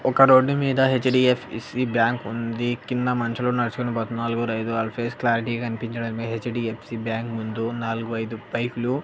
ఒక రోడ్డు మీద HDFC bank ఉంది కింద మనుషులు నడుచుకొని పోతున్నారు నలుగురు ఐదారు ఫేస్ క్లారిటీ గా కనిపించడం లే హెచ్_డి_యఫ్_సి బ్యాంక్ ముందు నాలుగు ఐదు బైక్ లు.